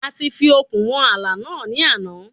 A ti fi okùn wọn ààlà náà ní àná.